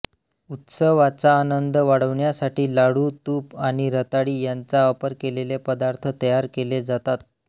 उत्सवाचा आनंद वाढविण्यासाठी लाडू तूप आणि रताळी यांचा वापर केलेले पदार्थ तयार केले जातात